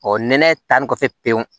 nɛnɛ taa ni kɔfɛ pewu